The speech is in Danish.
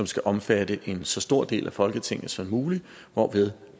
skal omfatte en så stor del af folketinget som muligt hvorved